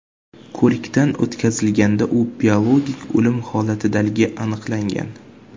ko‘rikdan o‘tkazilganda u biologik o‘lim holatidaligi aniqlangan.